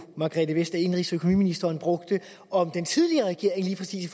indenrigsministeren brugte om den tidligere regering lige præcis i